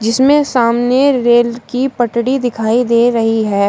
जीसमें सामने रेल की पटरी दिखाई दे रही है।